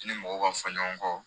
I ni mɔgɔw ka fɔ ɲɔgɔn kɔ